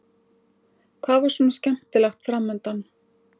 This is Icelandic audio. Hvað var svona skemmtilegt fram undan?